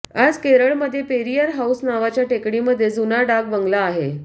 आज केरळमध्ये पेरियार हाऊस नावाच्या टेकडीमध्ये जुना डाक बंगला आहे